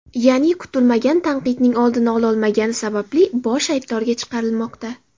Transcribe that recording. Ya’ni, kutilmagan tanqidning oldini ololmagani sababli bosh aybdorga chiqarilmoqda.